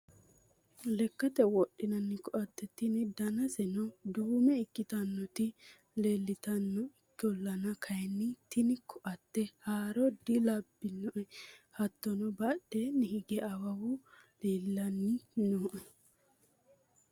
lekkate wodhinanni koatte tini danaseno duume ikkitinoti leeltanno ikkolana kayiinni tini koatte haaro dilabbanno. hattono badheenni hige awawu leelanni no.